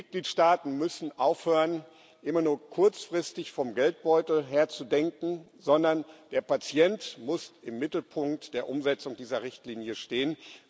Die Mitgliedstaaten müssen aufhören, immer nur kurzfristig vom Geldbeutel her zu denken, sondern der Patient muss im Mittelpunkt der Umsetzung dieser Richtlinie stehen.